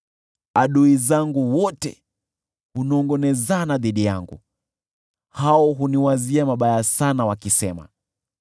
Adui zangu wote hunongʼonezana dhidi yangu, hao huniwazia mabaya sana, wakisema,